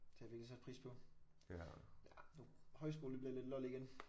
Det har jeg virkelig sat pris på ja nu højskole det bliver lidt lol igen